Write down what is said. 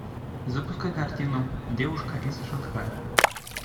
запускай картину девушка из шанхая